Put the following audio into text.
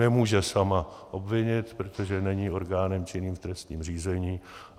Nemůže sama obvinit, protože není orgánem činným v trestním řízení.